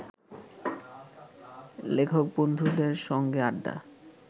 লেখক-বন্ধুদের সঙ্গে আড্ডা